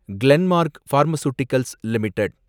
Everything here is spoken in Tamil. Glenmark pharmaceuticals limited